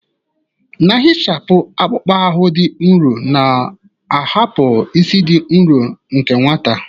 Na-ehichapụ akpụkpọ ahụ dị nro, na-ahapụ ísì dị nro nke nwata.